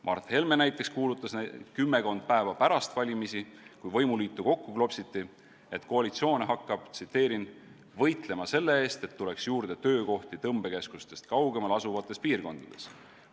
Mart Helme näiteks kuulutas kümmekond päeva pärast valimisi, kui võimuliitu kokku klopsiti: “Hakkame võitlema selle eest, et tuleks juurde töökohti tõmbekeskustest kaugemal asuvates piirkondades.